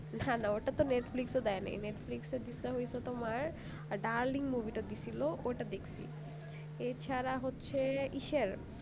হ্যাঁ না ওটা তো netflix দেয় নাই netflix এ দিছে হইছে তোমার darling movie টা দিছিলো ওইটা দেখেছি এছাড়া হচ্ছে